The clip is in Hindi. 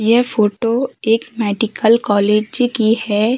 यह फोटो एक मेडिकल कॉलेज की है।